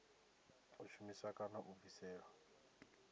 u shumisa kana u bvisela